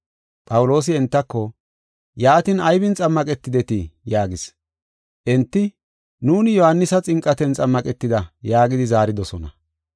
Phawuloosi entako, “Yaatin, aybin xammaqetidetii?” yaagis. Enti, “Nuuni Yohaanisa xinqaten xammaqetida” yaagidi zaaridosona.